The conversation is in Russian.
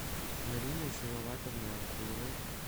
мариной салаватовной окуловой